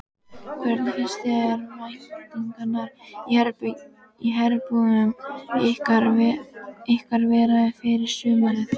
Hvernig finnst þér væntingarnar í herbúðum ykkar vera fyrir sumarið?